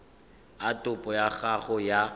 a topo ya gago ya